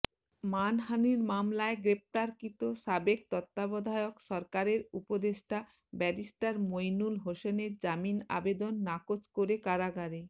মানহানির মামলায় গ্রেফতারকৃত সাবেক তত্ত্বাবধায়ক সরকারের উপদেষ্টা ব্যারিস্টার মইনুল হোসেনের জামিন আবেদন নাকচ করে কারাগারে